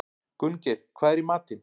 Gunngeir, hvað er í matinn?